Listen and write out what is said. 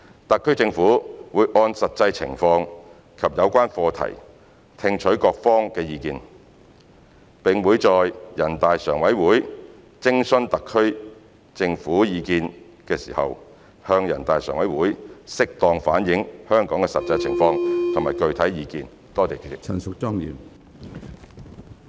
特區政府會按實際情況及有關課題聽取各方意見，並會在人大常委會徵詢特區政府意見時向人大常委會適當反映香港的實際情況及具體意見。